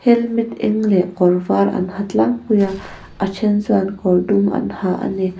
helmet eng leh kawr var an ha tlangpui a a then chuan kawr dum an ha a ni.